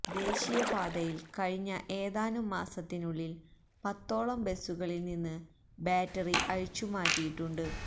ദേശീയ പാതയില് കഴിഞ്ഞ ഏതാനും മാസത്തിനുള്ളില് പത്തോളം ബസുകളില് നിന്ന് ബാറ്ററി അഴിച്ചു മാറ്റിയിട്ടുണ്ട്